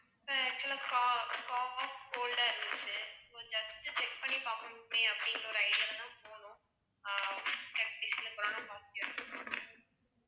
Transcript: sir actual ஆ co~ cold ஆ இருந்துச்சு so just check பண்ணி பாப்போமேன்னு அப்படிங்கற ஒரு idea ல தான் போனோம் அஹ் கொரோனா positive